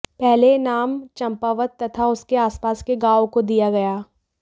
पहले यह नाम चंपावत तथा उसके आसपास के गाँवों को दिया गया